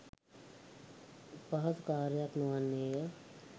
පහසු කර්යයක් නොවන්නේය